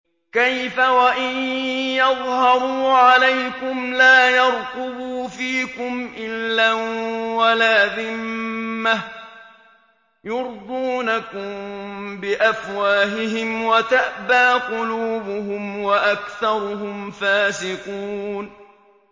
كَيْفَ وَإِن يَظْهَرُوا عَلَيْكُمْ لَا يَرْقُبُوا فِيكُمْ إِلًّا وَلَا ذِمَّةً ۚ يُرْضُونَكُم بِأَفْوَاهِهِمْ وَتَأْبَىٰ قُلُوبُهُمْ وَأَكْثَرُهُمْ فَاسِقُونَ